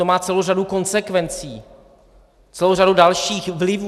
To má celou řadu konsekvencí, celou řadu dalších vlivů.